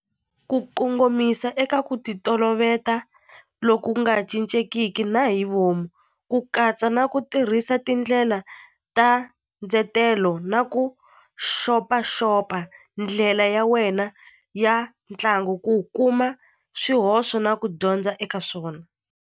Ku kongomisa eka ku ti toloveta loku nga cincekiki na hi vomu ku katsa na ku tirhisa tindlela ta ndzetelo na ku xopaxopa ndlela ya wena ya ntlangu ku kuma swihoxo na ku dyondza eka swona.